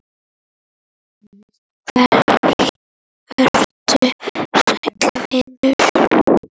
Vertu sæll vinur.